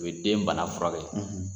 U ye den bana furakɛ,